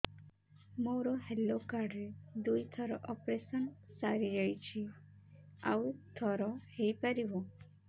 ମୋର health card ରେ ଦୁଇ ଥର ଅପେରସନ ସାରି ଯାଇଛି ଆଉ ଥର ହେଇପାରିବ